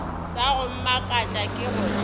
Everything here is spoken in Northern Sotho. sa go mmakatša ke gore